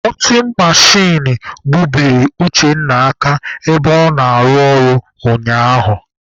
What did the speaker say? Kọtin mechin gbubiri Uchenna aka ebe ọ na-arụ ọrụ ụnyaahụ.